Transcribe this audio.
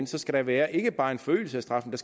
skal der være ikke bare en forøgelse af straffen